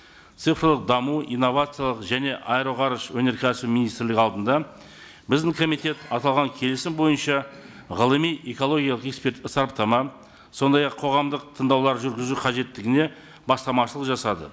цифрлық даму инновациялық және аэроғарыш өнеркәсібі министрлігі алдында біздің комитет аталған келісім бойынша ғылыми экологиялық эксперттік сараптама сондай ақ қоғамдық тыңдаулар жүргізу қажеттілігіне бастамашылық жасады